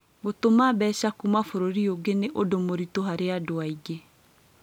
Gũtũma mbeca kuuma bũrũri ũngĩ ni ũndũ mũritũ harĩ andũ aingĩ